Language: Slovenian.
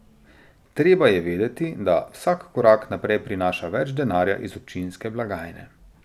Treba je vedeti, da vsak korak naprej prinaša več denarja iz občinske blagajne.